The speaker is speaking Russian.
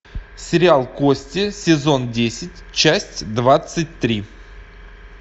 сериал кости сезон десять часть двадцать три